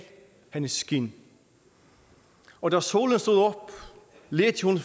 hendes skind og da solen stod op ledte hun